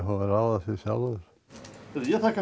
að ráða því sjálfur ég þakka